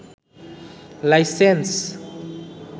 licence